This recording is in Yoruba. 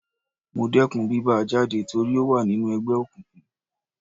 Mo dẹkùn bí bá a jáde torí ó wà nínú ẹgbẹ́ òkùnkùn.